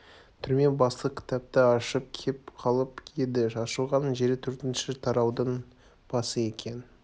түрме бастық кітапты ашып кеп қалып еді ашылған жері төртінші тараудың басы екен